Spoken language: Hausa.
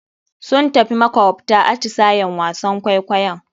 Sun tafi makawabta, atisayen wasan kwaikwayo.